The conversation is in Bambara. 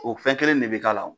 O fɛn kelen de bɛ k'a la.